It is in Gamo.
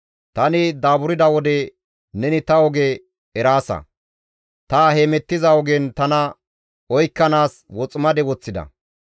Tani daaburda wode neni ta oge eraasa; ta hemettiza ogen tana oykkanaas woximade woththida.